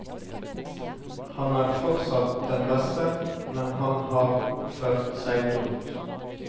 Han er fortsatt den beste, men han har oppført seg dumt.